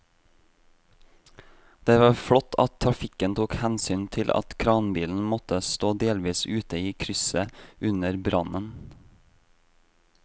Det var flott at trafikken tok hensyn til at kranbilen måtte stå delvis ute i krysset under brannen.